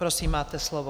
Prosím, máte slovo.